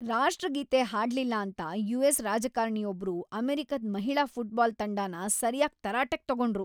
ರಾಷ್ಟ್ರಗೀತೆ ಹಾಡ್ಲಿಲ್ಲ ಅಂತ ಯು.ಎಸ್. ರಾಜಕಾರ್ಣಿ ಒಬ್ರು ಅಮೆರಿಕದ್ ಮಹಿಳಾ ಫುಟ್ಬಾಲ್ ತಂಡನ ಸರ್ಯಾಗ್ ತರಾಟೆಗ್ ತಗೊಂಡ್ರು.